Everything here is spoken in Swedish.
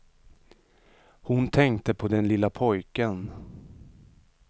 Hon tänkte på den lilla pojken.